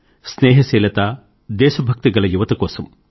స్నేహశీలత దేశభక్తి కల యువత కోసం